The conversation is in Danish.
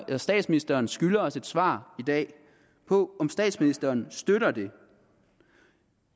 at statsministeren skylder os et svar i dag på om statsministeren støtter det